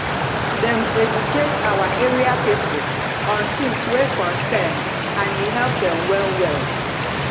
dem educate our area people on things wey concern and e help dem well well